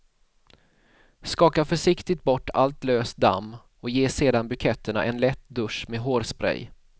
Skaka försiktigt bort allt löst damm och ge sedan buketterna en lätt dusch med hårspray.